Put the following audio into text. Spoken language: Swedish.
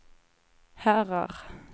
herrar